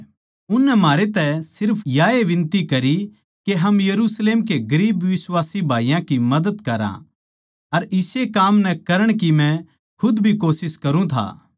उननै म्हारे तै सिर्फ याए बिनती करी के हम यरुशलेम के गरीब बिश्वासी भाईयाँ की मदद करां अर इस्से काम नै करण की मै खुद भी कोशिश करुँ था